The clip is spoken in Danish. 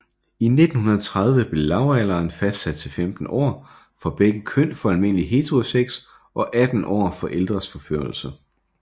I 1930 blev lavalderen fastsat til 15 år for begge køn for almindelig heterosex og 18 år for ældres forførelse